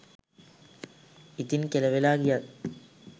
ඉතිං කෙලවෙලා ගියත්